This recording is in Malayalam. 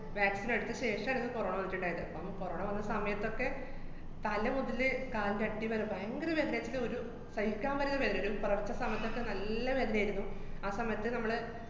vaccine നെടുത്ത ശേഷാണ് corona വന്നിട്ട്ണ്ടായത്. അപ്പം corona വന്ന സമയത്തൊക്കെ തല മുതല് കാലിന്‍റട്ടി വരെ ഭയങ്കര വേദനേക്ക് ഒരു സഹിക്കാന്‍ പറ്റാത്ത വേദന, ഒരു സമയത്തൊക്കെ നല്ല വേദനേരുന്നു. ആ സമയത്ത് നമ്മള്